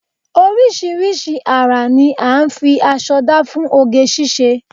Oríṣiríṣi ara ní à ń fi aṣọ dá fún oge ṣíṣe